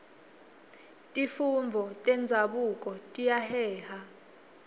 tifundvo tenzabuko tiyaheha